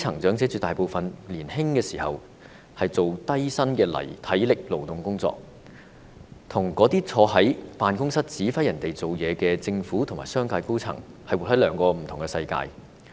絕大部分基層長者年青時也從事低薪的體力勞動工作，他們跟那些坐在辦公室指揮別人工作的政府和商界高層是活在兩個不同的世界。